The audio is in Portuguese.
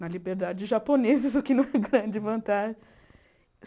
Na liberdade de japoneses, o que não é grande vantagem.